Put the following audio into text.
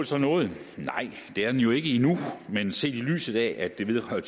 så nået nej det er det jo ikke endnu men set i lyset af at det vedrører